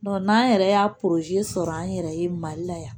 n'an yɛrɛ y'a sɔrɔ an yɛrɛ ye mali la yan